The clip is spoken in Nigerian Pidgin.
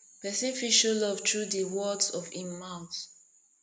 person fit show love through di words of im mouth